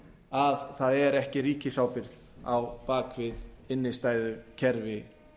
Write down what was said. að það sé ekki ríkisábyrgð á bak við innstæðukerfi